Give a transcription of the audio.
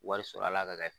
Wari sɔrɔla ka kɛ